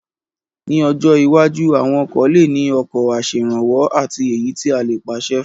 Ní ọjọ́ iwájú, àwọn ọkọ̀ lè ní ọkọ̀ aṣèrànwọ́ àti èyí tí a lè pàṣẹ fún